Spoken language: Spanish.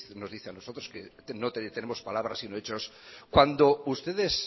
nos dice a nosotros que no tenemos palabras sino hechos cuando ustedes